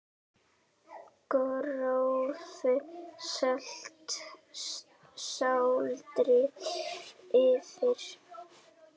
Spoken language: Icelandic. Grófu salti sáldrað yfir.